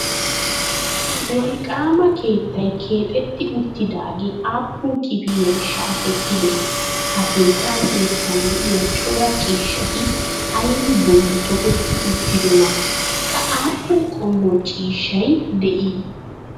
Wolqqaama keettay keexetti uttidaagee aappun kifiliyan shaakettidee? Ha keettaa sinttan de'iya cora ciishshati aybi bolli toketti uttidonaa qa aappun qommo ciishshay de'ii?